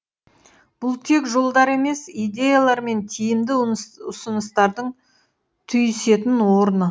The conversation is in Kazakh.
бұл тек жолдар емес идеялар мен тиімді ұсыныстардың түйісетін орны